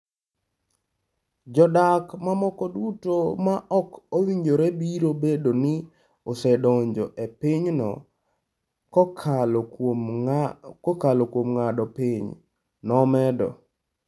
Jodak mamoko duto ma ok owinjore biro bedo ni osedonjo e pinyno kokalo kuom ng’ado piny,'' nomedo.